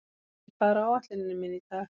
Elí, hvað er á áætluninni minni í dag?